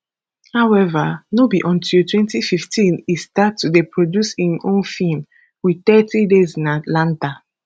howeva no be until 2015 e start to dey produce im own feem with thirty days in atlanta